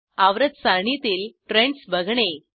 आवर्त सारणीतील ट्रेंडस बघणे